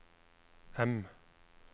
M